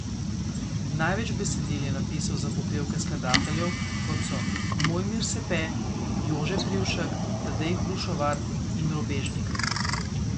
Največ besedil je napisal za popevke skladateljev, kot so Mojmir Sepe, Jože Privšek, Tadej Hrušovar in Robežnik.